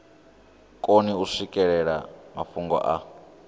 koni u swikelela mafhungo a